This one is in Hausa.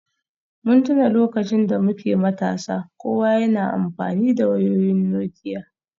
Mun tuna lokacin da muke matasa, kowa yana amfani da wayoyin Nokia